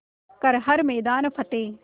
कर हर मैदान फ़तेह